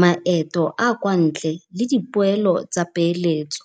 maeto a kwa ntle le dipoelo tsa peeletso.